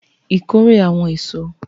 harvest the fruits